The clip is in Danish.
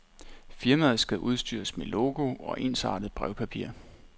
Firmaet skal udstyres med logo og ensartet brevpapir.